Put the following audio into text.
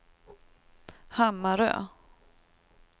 Hammarö